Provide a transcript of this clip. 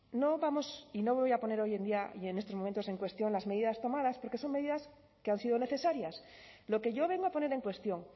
no vamos y no me voy a poner hoy en día y en estos momentos en cuestión las medidas tomadas porque son medidas que han sido necesarias lo que yo vengo a poner en cuestión